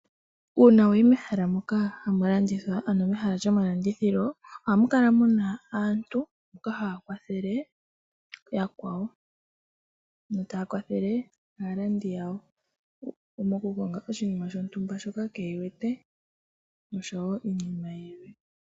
Uuna wayi mehala moka hamu landithwa ano mehala lyomalandithilo, ohamu kala muna aantu mboka haya kwathele yakwawo, mboka taya kwathele aalandi yawo, mo kukonga oshinima shontumba shoka kee wete, osho wo iinima yilwe.